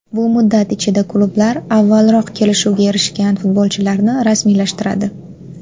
Bu muddat ichida klublar avvalroq kelishuvga erishgan futbolchilarni rasmiylashtiradi.